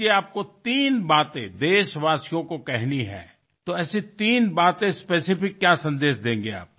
आता मला सांगातुम्हाला देशवासियांना तीन गोष्टी सांगायच्या असतील तर अशा कोणत्या तीन विशिष्ट गोष्टींचा संदेश आपण द्याल